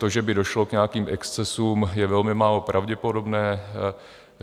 To, že by došlo k nějakým excesům, je velmi málo pravděpodobné.